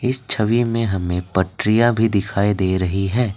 इस छवी में हमें पट्रिया भी दिखाई दे रही है।